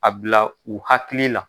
A bila u hakili la.